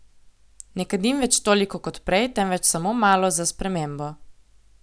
Ne kadim več toliko kot prej, temveč samo malo, za spremembo.